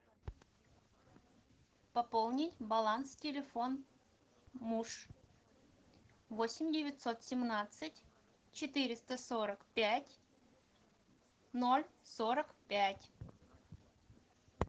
пополнить баланс телефон муж восемь девятьсот семнадцать четыреста сорок пять ноль сорок пять